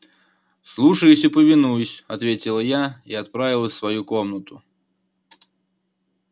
слушаюсь и повинуюсь ответила я и отправилась в свою комнату